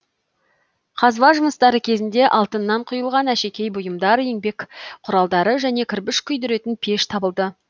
қазба жұмыстары кезінде алтыннан құйылған әшекей бұйымдар еңбек құралдары және кірпіш күйдіретін пеш табылды